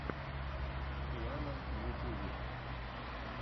рианна в ютьюбе